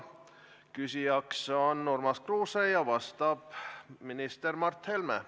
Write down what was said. Küsija on Urmas Kruuse ja vastab minister Mart Helme.